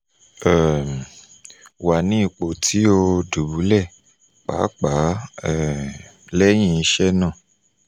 um wa ni ipo ti oi dubulẹ paapaa um lẹhin iṣe naa